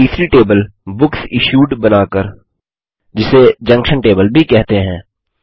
एक तीसरी टेबल बुकसिश्यूड बना कर जिसे जंक्शन टेबल भी कहते हैं